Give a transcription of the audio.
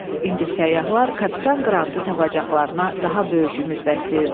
İndi səyyahlar kapitan Qrantı tapacaqlarına daha böyük ümid bəsləyirdilər.